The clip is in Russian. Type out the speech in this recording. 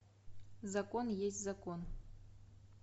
закон есть закон